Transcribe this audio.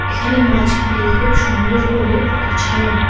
এখানে মাছগুলি খুব সুন্দর করে গোছানো।